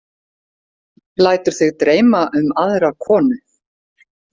Lætur þig dreyma um aðra konu!